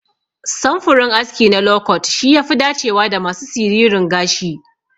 Samfurin aski na lokot shi yafi dacewa da masu siririn gashi.